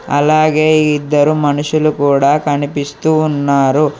అలాగే ఇద్దరు మనుషులు కూడా కనిపిస్తూ ఉన్నారు.